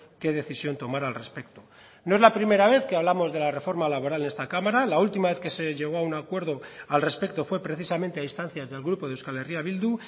qué decisión tomar al respecto no es la primera vez que hablamos de la reforma laboral en esta cámara la última vez que se llegó a un acuerdo al respecto fue precisamente a instancias del grupo de euskal herria bildu